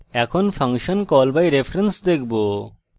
এখন function call by reference দেখব